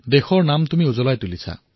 আপুনি দেশৰ নাম উজ্বল কৰিলে